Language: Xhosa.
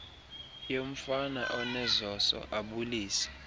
yomfana onezoso abulise